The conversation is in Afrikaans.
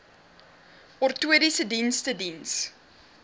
ortotiese dienste diens